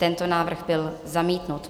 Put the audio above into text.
Tento návrh byl zamítnut.